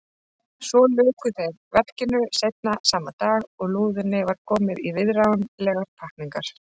Svo luku þeir verkinu seinna sama dag og lúðunni var komið í viðráðanlegar pakkningar.